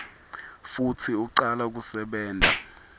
futsi ucala kusebenta